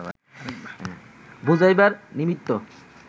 বুঝাইবার নিমিত্ত